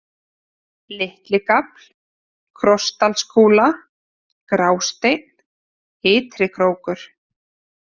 Litligafl, Krossdalskúla, Grásteinn, Ytrikrókur